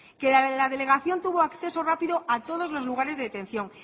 que la delegación tuvo acceso rápido a todos los lugares de detención